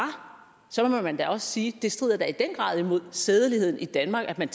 må man da også sige det strider da i den grad imod sædeligheden i danmark at man